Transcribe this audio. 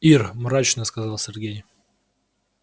ир мрачно сказал сергей